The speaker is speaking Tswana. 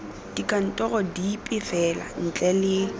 dikantorong dipe fela ntle le